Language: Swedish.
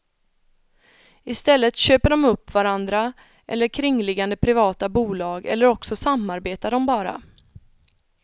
I stället köper de upp varandra eller kringliggande privata bolag eller också samarbetar de bara.